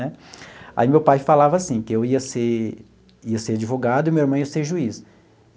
Né aí meu pai falava assim, que eu ia ser ia ser advogado e meu irmão ia ser juiz.